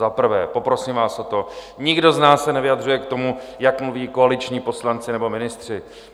Za prvé, poprosím vás o to, nikdo z nás se nevyjadřuje k tomu, jak mluví koaliční poslanci nebo ministři.